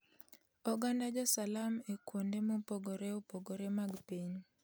Oganda jo Salam e kuonde mopogore opogore mag piny